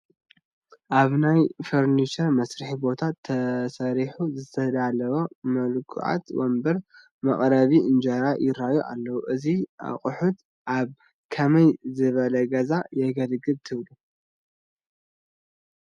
ኣብ ናይ ፈርኒቸር መስርሒ ቦታ ተሰሪሑ ዝተዳለወ ሙልኩዓት ወንበርን መቐረቢ እንጀራን ይራኣዩ ኣለው፡፡ አዚ ኣቑሑት ኣብ ከመይ ዝበለ ገዛ የገልግሉ ትብሉ?